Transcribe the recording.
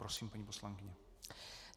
Prosím, paní poslankyně.